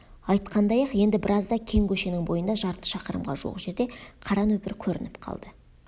айтқандай-ақ енді біразда кең көшенің бойында жарты шақырымға жуық жерде қара нөпір көрініп қалды